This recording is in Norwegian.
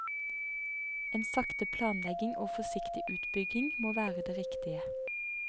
En sakte planlegging og forsiktig utbygging må være det riktige.